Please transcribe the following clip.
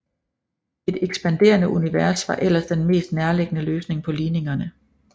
Et ekspanderende univers var ellers den mest nærligggende løsning på ligningerne